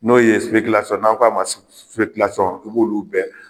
N'o ye n'aw ka ma u b'olu bɛɛ.